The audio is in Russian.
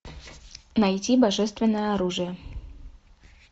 найти божественное оружие